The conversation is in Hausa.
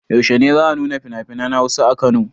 Yaushe ne za a nuna finafinan Hausa a Kano?